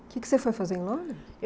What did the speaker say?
O que que você foi fazer em Londres?